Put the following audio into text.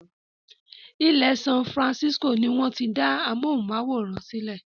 Ilẹ́ San Francisco ni wọ́n ti dá amóhùnmáwòrán sílẹ